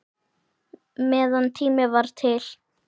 Meðan tími var til.